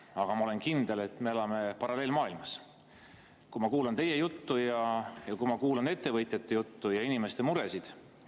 Aga ma olen kindel, et me elame paralleelmaailmades, kui ma kuulan teie juttu ja kui ma kuulan ettevõtjate juttu ja inimeste muresid.